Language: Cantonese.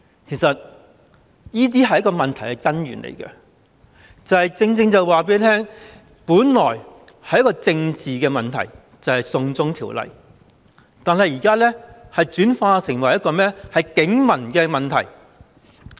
其實這些是問題的根源，正正反映出本來是一個政治的問題，就是"送中條例"，但現在已轉化成為一個警民的問題。